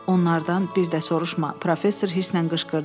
Onlardan bir də soruşma, professor hirsindən qışqırdı.